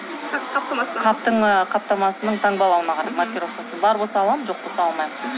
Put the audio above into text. қаптың ы қаптамасының маркировкасына бар болса аламын жоқ болса алмаймын